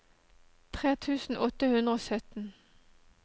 tre tusen åtte hundre og sytten